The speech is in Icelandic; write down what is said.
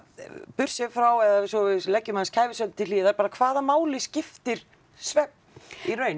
burtséð frá eða svo við leggjum aðeins kæfisvefn til hliðar bara hvaða máli skiptir svefn í raun